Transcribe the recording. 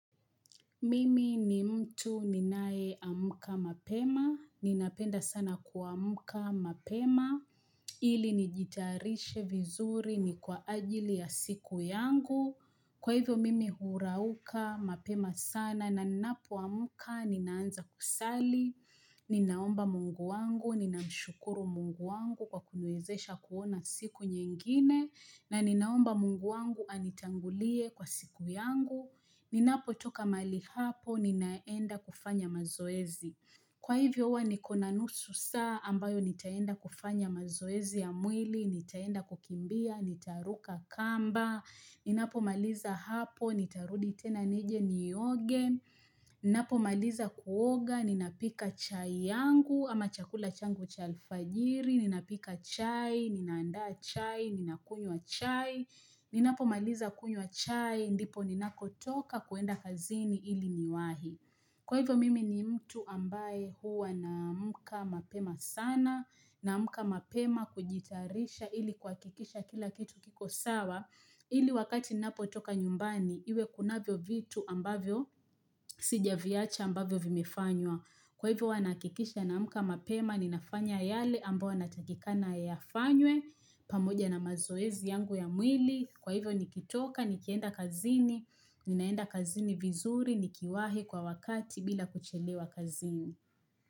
Mimi ni mtu ninayeamka mapema, ninapenda sana kuamka mapema, ili nijitayarishe vizuri ni kwa ajili ya siku yangu, kwa hivyo mimi hurauka mapema sana na ninapoamka ninaanza kusali, ninaomba mungu wangu, ninamshukuru mungu wangu kwa kuniwezesha kuona siku nyingine, na ninaomba mungu wangu anitangulie kwa siku yangu, Ninapotoka mahali hapo, ninaenda kufanya mazoezi. Kwa hivyo huwa niko na nusu saa ambayo nitaenda kufanya mazoezi ya mwili, nitaenda kukimbia, nitaruka kamba, ninapomaliza hapo, nitarudi tena nije nioge, ninapomaliza kuoga, ninapika chai yangu ama chakula changu cha alfajiri, ninapika chai, ninaanda chai, ninakunywa chai, ninapomaliza kunywa chai, ndipo ninapotoka kwenda kazini ili niwahi. Kwa hivyo mimi ni mtu ambaye huwa naamka mapema sana, naamka mapema kujitarisha ili kuhakikisha kila kitu kiko sawa, ili wakati ninapotoka nyumbani, iwe kunavyo vitu ambavyo sijaviacha ambavyo vimefanywa. Kwa hivyo huwa nahakikisha naamka mapema, ninafanya yale ambayo ninatakikana yafanywe, pamoja na mazoezi yangu ya mwili, Kwa hivyo nikitoka, nikienda kazini, ninaenda kazini vizuri, nikiwahi kwa wakati bila kuchelewa kazini.